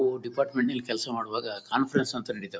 ಉಹ್ department ಕೆಲಸ ಮಾಡುವಾಗ conference ಅಂತ ನಡಿತ್ವ್.